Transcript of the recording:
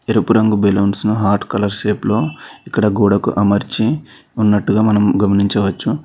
ఎరుపు రంగు బేలూన్స్ ను హాట్ కలర్ షేప్ లో ఇక్కడ గోడకు అమర్చి ఉన్నట్టుగా మనం గమనించవచ్చు.